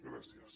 gràcies